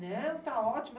Não, tá ótimo.